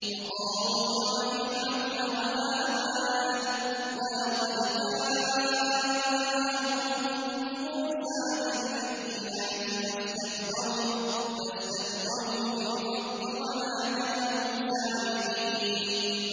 وَقَارُونَ وَفِرْعَوْنَ وَهَامَانَ ۖ وَلَقَدْ جَاءَهُم مُّوسَىٰ بِالْبَيِّنَاتِ فَاسْتَكْبَرُوا فِي الْأَرْضِ وَمَا كَانُوا سَابِقِينَ